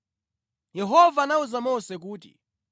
Yehova anawuza Mose kuti,